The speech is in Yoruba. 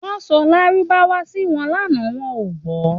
Wọ́n sọ lárúbáwá sí wọn lánàá, wọn ò gbọ́